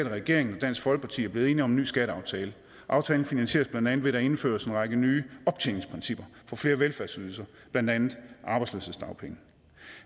at regeringen og dansk folkeparti er blevet enige om en ny skatteaftale og aftalen finansieres blandt andet ved at der indføres en række nye optjeningsprincipper for flere velfærdsydelser blandt andet arbejdsløshedsdagpenge